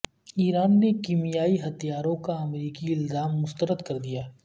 ایران نے کیمیائی ہتھیاروں کا امریکی الزام مسترد کردیا